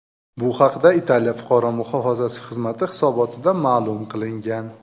Bu haqda Italiya fuqaro muhofazasi xizmati hisobotida ma’lum qilingan .